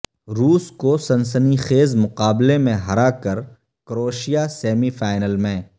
روس کو سنسنی خیز مقابلے میں ہرا کر کروشیا سیمی فائنل میں